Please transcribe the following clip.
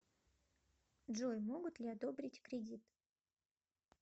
джой могут ли одобрить кредит